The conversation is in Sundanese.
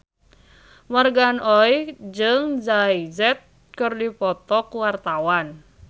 Morgan Oey jeung Jay Z keur dipoto ku wartawan